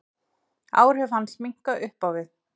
Áhrif hans minnka upp á við.